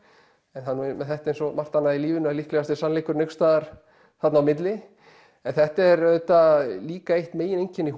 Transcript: en það er með þetta eins og svo margt annað í lífinu að líklegast er sannleikurinn einhvers staðar þarna á milli en þetta er auðvitað líka eitt megin einkenni